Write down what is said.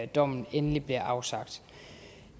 dommen endelig bliver afsagt